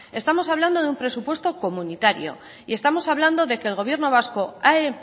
estamos hablando de un presupuesto comunitario estamos hablando de que el gobierno vasco ha